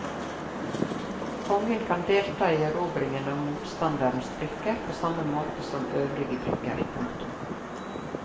Kongen kan delta i erobringen av motstanderens brikker på samme måte som øvrige brikker. punktum